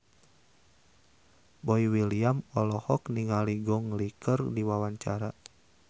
Boy William olohok ningali Gong Li keur diwawancara